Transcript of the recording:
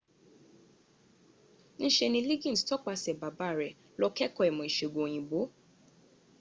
ń se ni liggins tọpasẹ̀ baba rẹ lọ kẹ́ẹ̀kọ́ ìmọ̀ ìsègùn òyìnbó